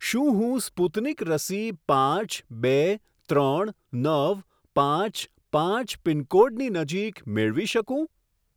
શું હું સ્પુતનિક રસી પાંચ બે ત્રણ નવ પાંચ પાંચ પિનકોડની નજીક મેળવી શકું?